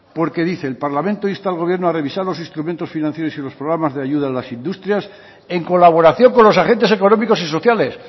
porque dice el parlamento insta al gobierno a revisar los instrumentos financieros y los programas de ayuda a las industrias en colaboración con los agentes económicos y sociales